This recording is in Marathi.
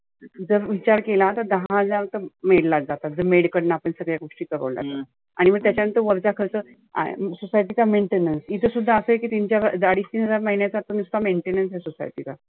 जर विचार केला तर दहा हजार तर maid लाच जातात. तर maid कडनं आपण सगळे आणि मग त्याच्या नंतर वरचा खर्च आहे. society चा maintenance इथं सुद्धा असं आहे की तीन चार आडीच तीन हजार महिण्याचा आता नुस्त maintenance आहे society चा.